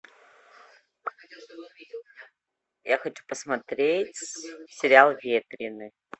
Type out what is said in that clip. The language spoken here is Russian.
я хочу посмотреть сериал ветреный